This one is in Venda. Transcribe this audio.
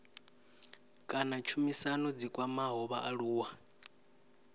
kana tshumisano dzi kwamaho vhaaluwa